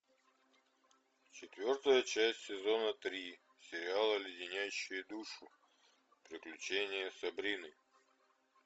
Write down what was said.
четвертая часть сезона три сериала леденящие душу приключения сабрины